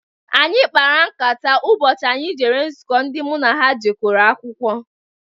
Anyị kpara nkata ụbọchị anyị jere nzuko ndị m na ha jekọrọ akwụkwọ.